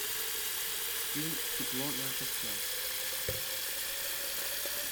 фильм тепло наших тел